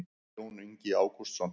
jón ingi ágústsson